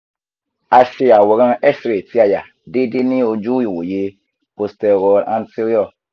a ṣe aworan x-ray ti aya deede ni oju iwoye posteroanterior (pa view)